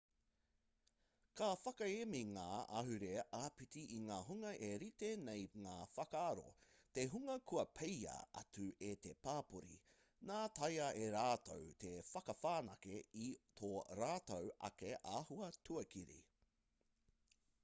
ka whakaemi ngā ahurea āpiti i ngā hunga e rite nei ngā whakaaro te hunga kua peia atu e te pāpori nā taea e rātou te whakawhanake i tō rātou ake āhua tuakiri